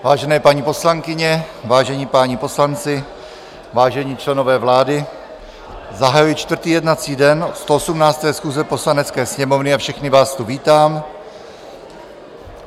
Vážené paní poslankyně, vážení páni poslanci, vážení členové vlády, zahajuji čtvrtý jednací den 118. schůze Poslanecké sněmovny a všechny vás tu vítám.